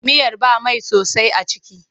Miyar ba mai sosai a ciki.